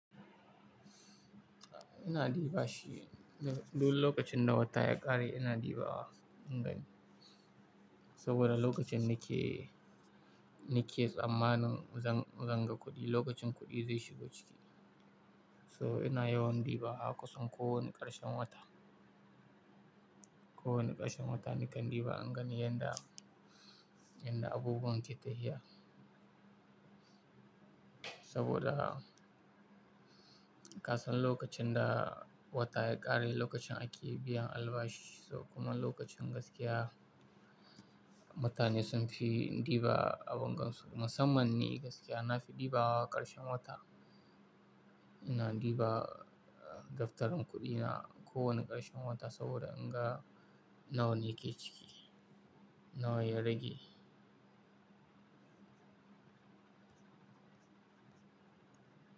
Ina ɗiba shi duk lokacin da wata ya ƙare ina ɗibawa in gani. Saboda lokacin nake, nake tsammanin zan, zan ga kuɗi, lokacin kuɗi zai shigo ciki. So ina yawan ɗiba a kusan kowane ƙarshen wata. Kowane ƙarshen wata nakan ɗiba in gani yadda, yadda abubuwan ke tafiya. Saboda kasan lokacin da wata ya ƙare lokacin ake biyan albashi. Kuma lokacin gaskiya mutane sun fi ɗiba abin gan su. Musamman ni gaskiya na fi ɗibawa ƙarshen wata. Ina ɗiba daftarin kuɗina kowane ƙarshen wata saboda in ga nawa ne ke ciki, nawa ya rage.